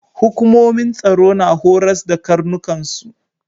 Hukumomin tsaro na horas da karnukan su.